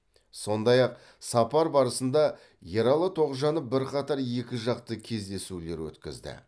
сондай ақ сапар барысында ералы тоғжанов бірқатар екіжақты кездесулер өткізді